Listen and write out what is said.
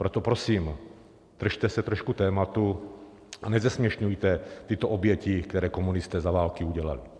Proto prosím držte se trošku tématu a nezesměšňujte tyto oběti, které komunisté za války udělali.